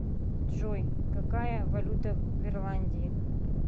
джой какая валюта в ирландии